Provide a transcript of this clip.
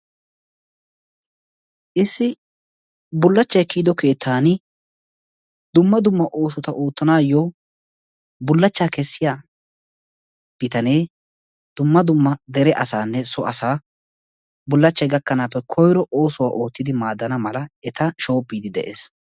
Issi bullachchay kiyido keettaani dumma dummaa oosota oottanaayyo bullachchaa kessiyaa bitanee dumma dumma dere asaanne so asaa bullachchay gakkanaappe koyiro oosuwua oottidi maaddana mala eta shoobbiiddi de'ees.